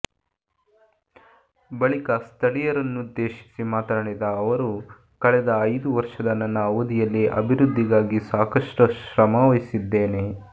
ಬಳಿಕ ಸ್ಥಳೀಯರನ್ನುದ್ದೇಶಿಸಿ ಮಾತನಾಡಿದ ಅವರು ಕಳೆದ ಐದು ವರ್ಷದ ನನ್ನ ಅವಧಿಯಲ್ಲಿ ಅಭಿವೃದ್ಧಿಗಾಗಿ ಸಾಕಷ್ಟು ಶ್ರಮವಹಿಸಿದ್ದೇನೆ